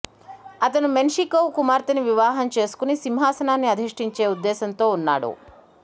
అతను మెన్షికోవ్ కుమార్తెని వివాహం చేసుకుని సింహాసనాన్ని అధిష్టించే ఉద్దేశంతో ఉన్నాడు